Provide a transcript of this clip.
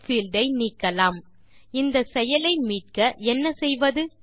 field ஐ நீக்கலாம் இந்த செயலை மீட்க என்ன செய்வது